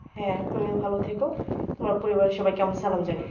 হ্যাঁ তুমিও ভালো থেকো তোমার পরিবারের সবাইকে আমার সালাম জানিও